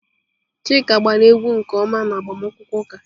Chika gbara egwu nke ọma n'agbamakwụkwọ ụka.